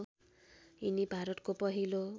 यिनी भारतको पहिलो